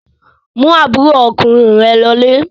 Mú àbúrò ọkùnrin rẹ lọlé!